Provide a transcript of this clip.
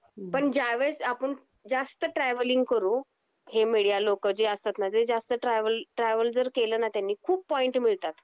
पण ज्यावेळेस आपण जास्त ट्रॅव्हलिंग करू हे मीडिया लोक जे असतात जे जास्त ट्रॅव्हल, ट्रॅव्हल जर केलना त्यांनी खूप पॉइंट मिळतात